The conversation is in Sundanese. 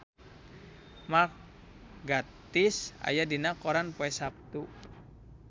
Mark Gatiss aya dina koran poe Saptu